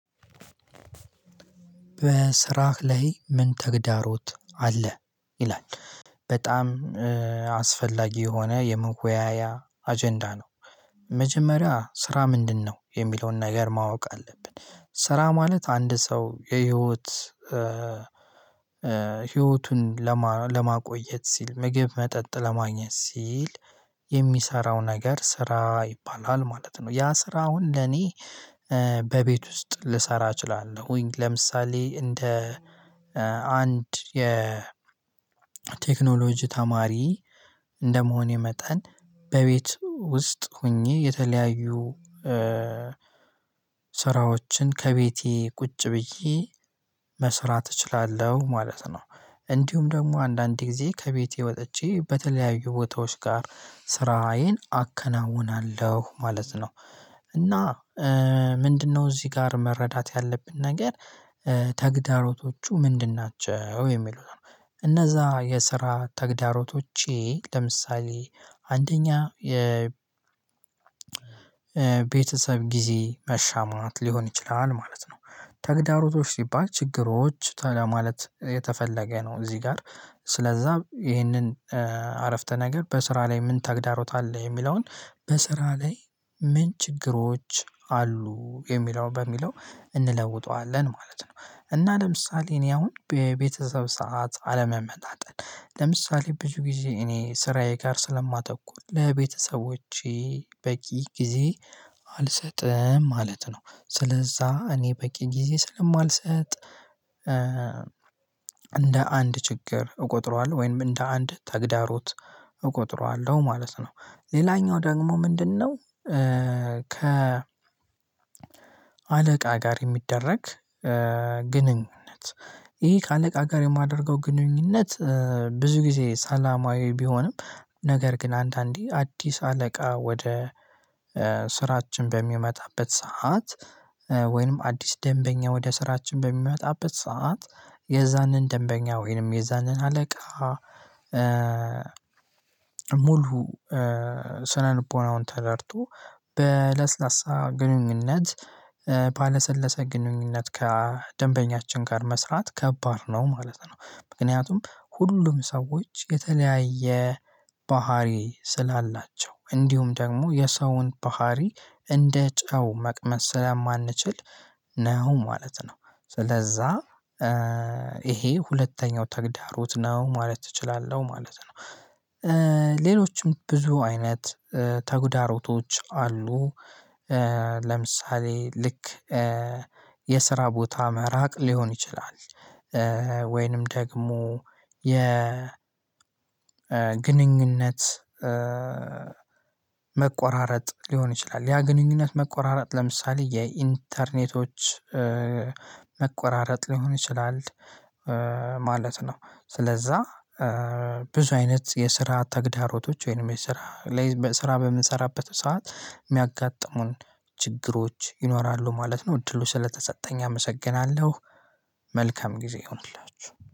በስራህ ላይ ምን ተግዳሮት አለ ይላል? በጣም እ አስፈላጊ የሆነ የመወያያ አጀንዳ ነው። መጀመሪያ ስራ ምንድነው የሚለውን ነገር ማወቅ አለብን ስራ ማለት አንድ ሰው የህይወት እ ህይወቱን ለማ ለማቆየት ሲል ምግብ መጠጥ ለማግኘት ሲል የሚሰራው ነገር ስራ ይባላል ማለት ነው። ያ ስራ አሁን ለኔ እ በቤት ውስጥ ልሰራ እችላለሁኝ ለምሳሌ እንደ እ አንድ የ ቴክኖሎጂ ተማሪ እንደመሆኔ መጠን በቤት ውስጥ ሆኜ የተለያዩ እ ስራዎችን ከቤቴ ቁጭ ብዬ መስራት እችላለሁ ማለት ነው። እንዲሁም ደግሞ አንዳንድ ጊዜ ከቤቴ ወጥቼ በተለያዩ ቦታዎች ጋር ስራዬን አከናውናለሁ ማለት ነው። እና እ ምንድነው እዚህ ጋር መረዳት ያለብን ነገር እ ተግዳሮቶቹ ምንድን ናቸው የሚሉት ነው? እነዛ የስራ ተግዳሮቶቼ ለምሳሌ አንደኛ የ ቤተሰብ ጊዜ መሻማት ሊሆን ይችላል ማለት ነው። ተግዳሮቶች ሲባል ችግሮች ለማለት የተፈለገ ነው እዚህ ጋር ስለዛ ይህንን እ አረፍተ ነገር በስራ ላይ ምን ተግዳሮት አለ የሚለውን በስራ ላይ ምን ችግሮች አሉ የሚለው በሚለው እንለውጠዋለን ማለት ነው። እና ለምሳሌ እኔ አሁን በቤተሰብ ሰዓት አለመመጣጠን ለምሳሌ ብዙ ጊዜ እኔ ስራዬ ጋር ስለማተኩር ለቤተሰቦቼ በቂ ጊዜ አ አልሰጥም ማለት ነው። ስለዛ እኔ በቂ ጊዜ ስለማልሰጥ እ እንደ አንድ ችግር እቆጥረዋለሁ ወይም እንደ አንድ ተግዳሮት እቆጥረዋለሁ ማለት ነው። ሌላኛው ደግሞ ምንድነው? እ ከ አለቃ ጋር የሚደረግ እ ግንኙነት ይሄ ከአለቃ ጋር የማደርገው ግንኙነት እ ብዙ ጊዜ ሰላማዊ ቢሆንም ነገር ግን አንዳንዴ አዲስ አለቃ ወደ እ ስራችን በሚመጣበት ሰዓት እ ወይንም አዲስ ደንበኛ ወደ ስራችን በሚመጣበት ሰዓት የዛንን ደንበኛ ወይንም የዛንን አለቃ እ ሙሉ እ ስነልቦናውን ተረድቶ በለስላሳ ግንኙነት ባለሰለሰ ግንኙነት ከደንበኛችን ጋር መስራት ከባድ ነው ማለት ነው። ምክንያቱም ሁሉም ሰዎች የተለያየ ባህሪ ስላላቸው እንዲሁም ደግሞ የሰውን ባህሪ እንደ ጨው መቅመስ ስለማንችል ነው ማለት ነው። ስለዛ እ ይሄ ሁለተኛው ተግዳሮት ነው ማለት እችላለሁ ማለት ነው። እ ሌሎችም ብዙ አይነት እ ተጉዳሮቶች አሉ። እ ለምሳሌ ልክ እ የስራ ቦታ መራቅ ሊሆን ይችላል። ወይንም ደግሞ የ ግንኙነት እ መቆራረጥ ሊሆን ይችላል ያ ግንኙነት መቆራረጥ ለምሳሌ የኢንተርኔቶች እ መቆራረጥ ሊሆን ይችላል እ ማለት ነው። ስለዛ እ ብዙ አይነት የስራ ተግዳሮቶች ወይንም የስራ ላይ ስራ በምንሰራበት ሰዓት የሚያጋጥሙን ችግሮች ይኖራሉ ማለት ነው። እድሉ ስለተሰጠኝ አመሰግናለሁ። መልካም ጊዜ ይሁንላችሁ